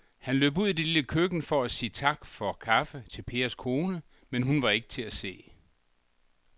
Han løb ud i det lille køkken for at sige tak for kaffe til Pers kone, men hun var ikke til at se.